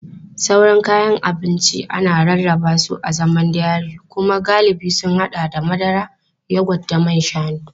Sauran kayan abinci ana rarraba su a zaman dairy kuma galibi sun haɗa da madara, yogurt da man shanu.